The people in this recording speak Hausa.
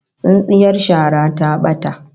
Tsintsiyar shara ta bata